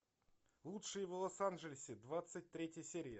лучшие в лос анджелесе двадцать третья серия